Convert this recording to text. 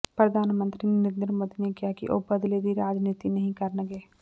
ਪ੍ਰਧਾਨ ਮੰਤਰੀ ਨਰਿੰਦਰ ਮੋਦੀ ਨੇ ਕਿਹਾ ਸੀ ਕਿ ਉਹ ਬਦਲੇ ਦੀ ਰਾਜਨੀਤੀ ਨਹੀਂ ਕਰਨਗੇ